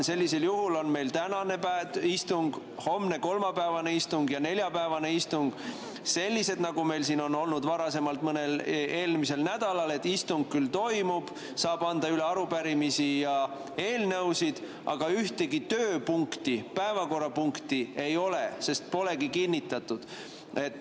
Sellisel juhul on tänane istung, kolmapäevane istung ja neljapäevane istung sellised, nagu meil on olnud istungid varasemalt mõnel eelmisel nädalal, et istung küll toimub, saab anda üle arupärimisi ja eelnõusid, aga ühtegi päevakorrapunkti ei ole, sest päevakorda polegi kinnitatud.